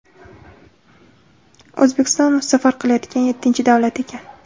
O‘zbekiston u safar qilayotgan yettinchi davlat ekan.